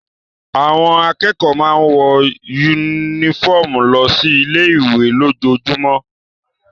Àwọn akẹ́kọ̀ọ́ máa ń wọ yúnífọ̀mù lọ sí ilé ìwé lójoojúmọ́